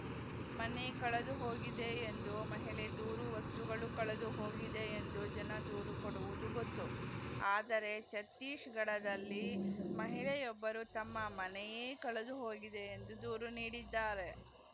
ಮನೆ ಕಳೆದುಹೋಗಿದೆ ಎಂದು ಮಹಿಳೆ ದೂರು ವಸ್ತುಗಳು ಕಳೆದುಹೋಗಿದೆ ಎಂದು ಜನ ದೂರು ಕೊಡುವುದು ಗೊತ್ತು ಆದರೆ ಛತ್ತೀಸ್‌ಗಢದಲ್ಲಿ ಮಹಿಳೆಯೊಬ್ಬರು ತಮ್ಮ ಮನೆಯೇ ಕಳೆದುಹೋಗಿದೆ ಎಂದು ದೂರು ನೀಡಿದ್ದಾರೆ